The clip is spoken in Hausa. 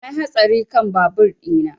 Na yi hatsari kan babur ina